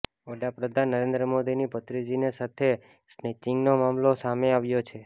વડાપ્રધાન નરેન્દ્ર મોદીની ભત્રીજીની સાથે સ્નેચિંગનો મામલો સામે આવ્યો છે